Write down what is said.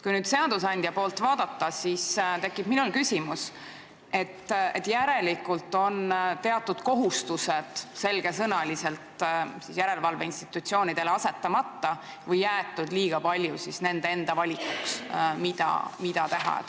Kui seadusandja poolt vaadata, siis mul tekib küsimus, et järelikult on teatud kohustused selge sõnaga järelevalveinstitutsioonidele panemata või on liiga paljude asjade tegemine jäetud nende enda valikuks.